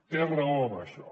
té raó en això